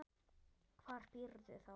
Hvar býrðu þá?